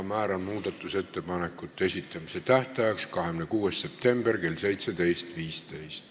Määran muudatusettepanekute esitamise tähtajaks 26. septembri kell 17.15.